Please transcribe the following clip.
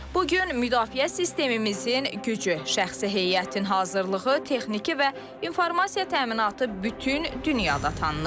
Bu gün müdafiə sistemimizin gücü, şəxsi heyətin hazırlığı, texniki və informasiya təminatı bütün dünyada tanınır.